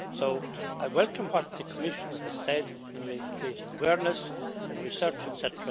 So I welcome what the Commissioner has said in creating awareness and research, etc.,